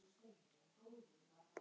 Mér héldu engin bönd.